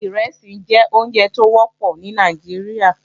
Ìrẹsì jẹ́ oúnjẹ tó wọ́pọ̀ ní Nàìjíríà